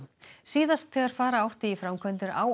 síðast þegar fara átti í framkvæmdir á